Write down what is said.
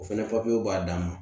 O fɛnɛ b'a dan ma